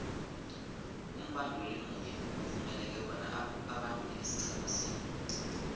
umbanduli munye uvumeleke bona abandule isiqhema sinye